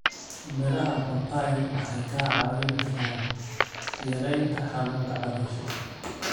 Miraha papai waxay caawin karaan yareynta xanuunka caloosha.